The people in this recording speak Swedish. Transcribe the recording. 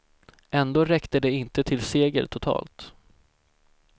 Ändå räckte det inte till seger totalt.